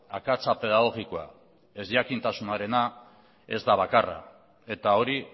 akatsa pedagogikoa ezjakintasunarena ez da bakarra eta hori